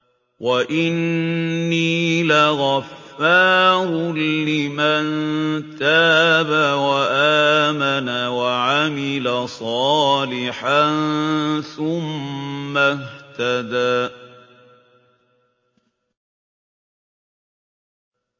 وَإِنِّي لَغَفَّارٌ لِّمَن تَابَ وَآمَنَ وَعَمِلَ صَالِحًا ثُمَّ اهْتَدَىٰ